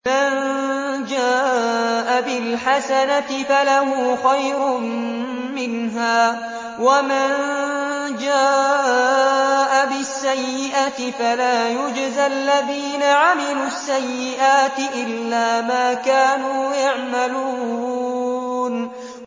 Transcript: مَن جَاءَ بِالْحَسَنَةِ فَلَهُ خَيْرٌ مِّنْهَا ۖ وَمَن جَاءَ بِالسَّيِّئَةِ فَلَا يُجْزَى الَّذِينَ عَمِلُوا السَّيِّئَاتِ إِلَّا مَا كَانُوا يَعْمَلُونَ